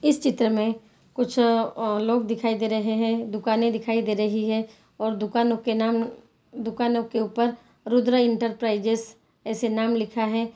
इस चित्र मे कुछ अ लोग दिखाई दे रहे हैं दुकाने दिखाई दे रही है और दुकानों के नाम दुकानों के ऊपर रुद्र इंटरप्राइजेज ऐसे नाम लिखा है।